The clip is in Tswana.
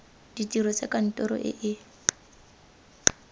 ditiro tsa kantoro e e